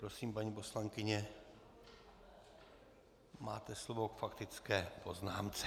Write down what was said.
Prosím, paní poslankyně, máte slovo k faktické poznámce.